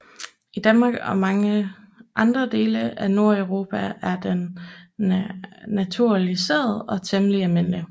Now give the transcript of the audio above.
I Danmark og mange andre dele af Nordeuropa er den naturaliseret og temmelig almindelig